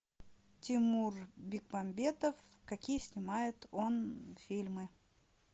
тимур бекмамбетов какие снимает он фильмы